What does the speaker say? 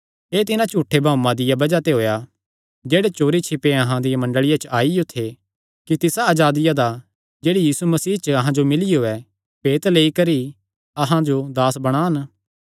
एह़ तिन्हां झूठे भाऊआं दिया बज़ाह ते होएया जेह्ड़े चोरी छिपे अहां दिया मंडल़िया च आईयो थे कि तिसा अजादिया दा जेह्ड़ी यीशु मसीह च अहां जो मिलियो ऐ भेत लेई करी अहां जो दास बणान